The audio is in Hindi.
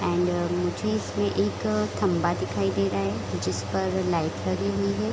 एंड मुझे इसमें एक थंबा दिखाई दे रहा है जिस पर लाइट लगी हुई है।